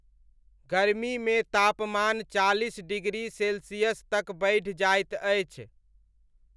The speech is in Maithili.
गर्मीमे तापमान चालिस डिग्री सेल्सियस तक बढ़ि जाइत अछि।